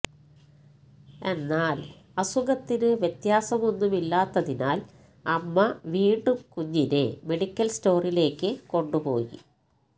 എന്നാല് അസുഖത്തിന് വ്യത്യാസമൊന്നുമില്ലാത്തതിനാല് അമ്മ വീണ്ടും കുഞ്ഞിനെ മെഡിക്കല് സ്റ്റോറിലേക്ക് കൊണ്ടു പോയി